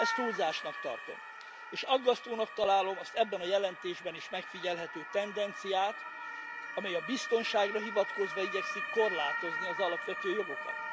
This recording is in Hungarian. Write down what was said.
Ezt túlzásnak tartom és aggasztónak találom azt az ebben a jelentésben is megfigyelhető tendenciát, amely a biztonságra hivatkozva igyekszik korlátozni az alapvető jogokat.